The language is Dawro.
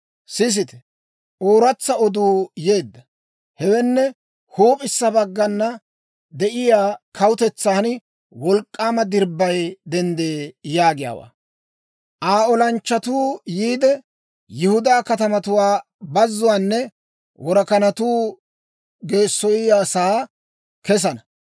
Sisite! Ooratsa oduu yeedda; hewenne, «Huup'issa baggana de'iyaa kawutetsan wolk'k'aama dirbbay denddee» yaagiyaawaa. Aa olanchchatuu yiide, Yihudaa katamatuwaa bazuwaanne worakanatuu geessoyiyaasaa kessana.